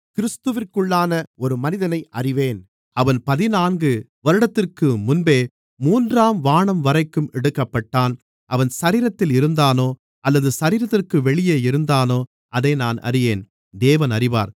கிறிஸ்துவிற்குள்ளான ஒரு மனிதனை அறிவேன் அவன் பதினான்கு வருடத்திற்கு முன்பே மூன்றாம் வானம்வரைக்கும் எடுக்கப்பட்டான் அவன் சரீரத்தில் இருந்தானோ அல்லது சரீரத்திற்கு வெளியே இருந்தானோ அதை நான் அறியேன் தேவன் அறிவார்